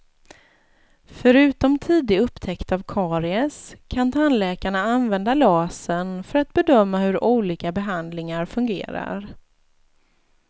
Förutom tidig upptäckt av karies kan tandläkarna använda lasern för att bedöma hur olika behandlingar fungerar.